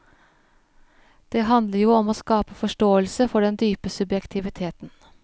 Det handler jo om å skape forståelse for den dype subjektiviteten.